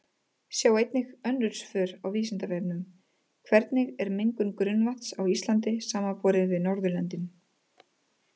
Sjá einnig önnur svör á Vísindavefnum: Hvernig er mengun grunnvatns á Íslandi samanborið við Norðurlöndin?